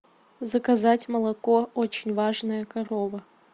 заказать молоко очень важная корова